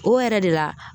O yɛrɛ de la